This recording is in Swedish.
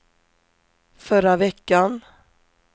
förra veckan